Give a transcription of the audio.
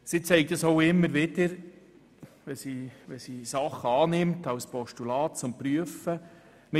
Die Regierung sagt dies auch immer wieder, wenn sie Vorstösse in Form von Postulaten zur Prüfung annimmt.